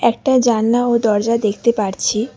একটা জানলা ও দরজা দেখতে পারছি।